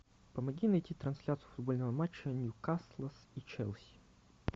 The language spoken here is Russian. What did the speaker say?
помоги найти трансляцию футбольного матча ньюкасла и челси